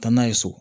Taa n'a ye so